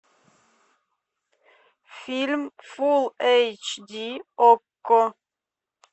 фильм фул эйч ди окко